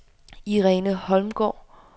Irene Holmgaard